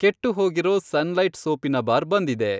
ಕೆಟ್ಟುಹೋಗಿರೋ Sunlight ಸೋಪಿನ bar ಬಂದಿದೆ.